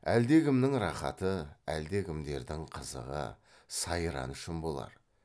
әлдекімнің рақаты әлдекімдердің қызығы сайраны үшін болар